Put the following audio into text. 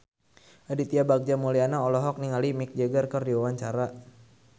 Aditya Bagja Mulyana olohok ningali Mick Jagger keur diwawancara